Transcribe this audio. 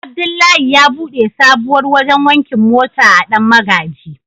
Abdullahi ya bude sabuwar wajen wankin mota a dan magaji.